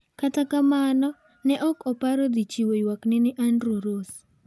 Kata kamano ne ok oparo dhi chiwo ywakne ni Andrew Ross.